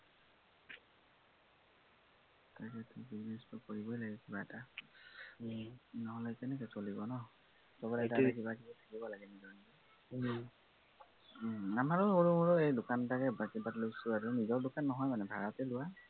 business টো কৰিবই লাগিব কিবা এটা। নহলে কেনেকে চলিব ন, সৱৰে এটা এটা কিবাকিবি থাকিব লাগে নিজৰ নিজৰ। আমাৰো সৰু মৰু এৰ দোকান এটাকে বাকী বাদ লৈছো আৰু, নিজৰ দোকনা নহয় মানে, ভাড়াতে লোৱা